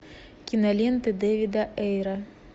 киноленты дэвида эйра